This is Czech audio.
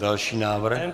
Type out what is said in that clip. Další návrh.